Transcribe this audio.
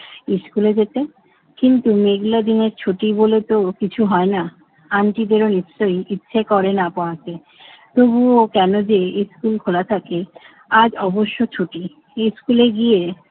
স্কুলে যেতে? কিন্তু মেঘলা দিনের ছুটি বলেতো কিছু হয় না। আন্টি বলেন নিশ্চয়ই ইচ্ছে করে না পড়াতে, তবুও কেন যে স্কুল খোলা থাকে? আজ অবশ্য ছুটি। স্কুলে গিয়ে